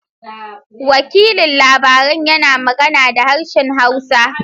Wakilin labaran yana magana da harshen hausa.